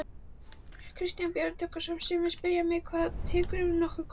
Kristján Björn Tryggvason: Sumir spyrja mig: Hvað, tekurðu nokkuð kort?